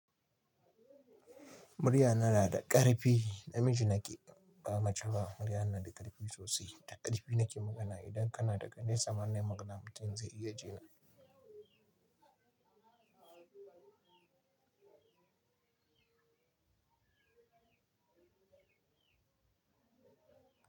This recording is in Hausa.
Muryana na da ƙarfi, namiji nake ba mace ba, muryana na da ƙarfi sosai, da ƙarfi nake magana. Idan kana daga nesa ma ne magana mutum zai iya jina.